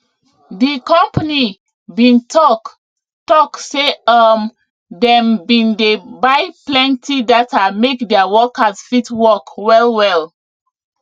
di company bin talk talk say um dem bin dey buy plenti data make their workers fit work well well